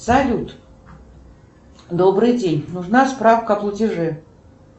салют добрый день нужна справка о платеже